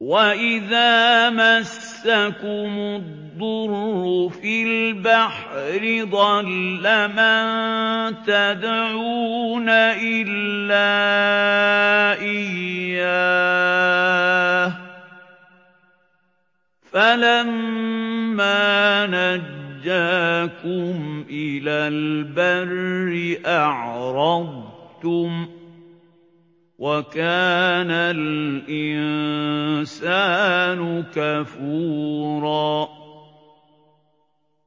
وَإِذَا مَسَّكُمُ الضُّرُّ فِي الْبَحْرِ ضَلَّ مَن تَدْعُونَ إِلَّا إِيَّاهُ ۖ فَلَمَّا نَجَّاكُمْ إِلَى الْبَرِّ أَعْرَضْتُمْ ۚ وَكَانَ الْإِنسَانُ كَفُورًا